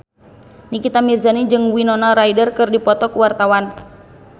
Nikita Mirzani jeung Winona Ryder keur dipoto ku wartawan